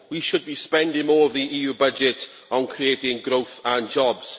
We should be spending more of the EU budget on creating growth and jobs.